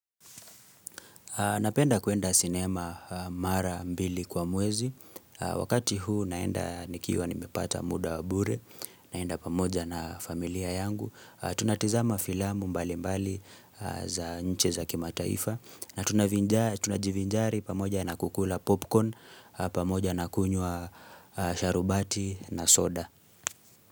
Napenda kuenda sinema mara mbili kwa mwezi. Wakati huu naenda nikiwa nimepata muda wa bure. Naenda pamoja na familia yangu. Tunatazama filamu mbali mbali za nche za kima taifa. Na tunajivinjari pamoja na kukula popcorn. Pamoja na kunywa sharubati na soda.